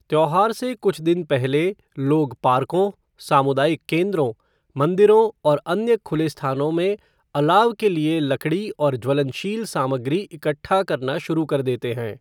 त्योहार से कुछ दिन पहले लोग पार्कों, सामुदायिक केंद्रों, मंदिरों और अन्य खुले स्थानों में अलाव के लिए लकड़ी और ज्वलनशील सामग्री इकट्ठा करना शुरू कर देते हैं।